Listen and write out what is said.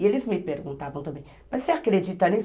E eles me perguntavam também, mas você acredita nisso?